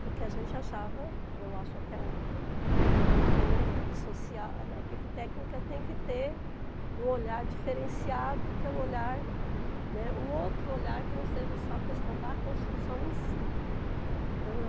porque a gente achava, eu acho até hoje, né, que na equipe social, na equipe técnica tem que ter um olhar diferenciado, que é o olhar, né, um outro olhar que não seja só a questão da construção em si.